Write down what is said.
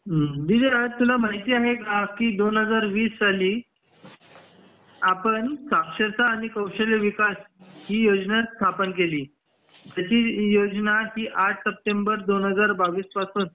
दीदी आज तुला माहिती आहे का दोन हजार वीस साली आपण साक्षरता आणि कौशल्य विकास ही योजना स्थापन केली ती योजना आठ सप्टेंबर दोन हजार बावीस पासून